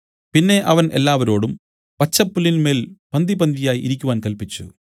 പിന്നെ അവൻ എല്ലാവരോടും പച്ചപ്പുല്ലിന്മേൽ പന്തിപന്തിയായി ഇരിക്കുവാൻ കല്പിച്ചു